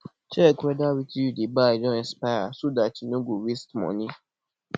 check weda wetin you dey buy don expire so dat you no go waste money